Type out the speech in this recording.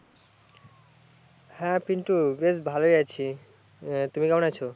হ্যা পিন্টু বেশ ভালোই আছি, তুমি কেমন আছো?